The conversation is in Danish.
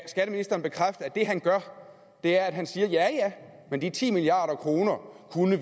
det han gør er at han siger at de ti milliard kroner kunne